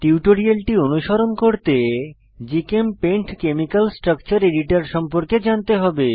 টিউটোরিয়ালটি অনুসরণ করতে জিচেমপেইন্ট কেমিকাল স্ট্রাকচার এডিটর সম্পর্কে জানতে হবে